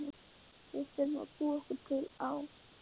Við þurfum að búa okkur til Á